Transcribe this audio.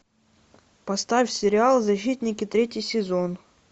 поставь сериал защитники третий сезон